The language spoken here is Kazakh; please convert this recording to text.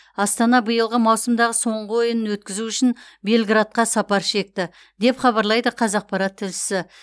астана биылғы маусымдағы соңғы ойынын өткізу үшін белградқа сапар шекті деп хабарлайды қазақпарат тілшісі